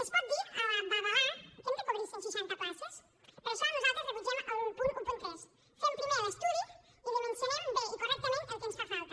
es pot dir a la babalà que hem de cobrir cent seixanta places per això nosaltres rebutgem el punt tretze fem primer l’estudi i dimensionem bé i correctament el que ens fa falta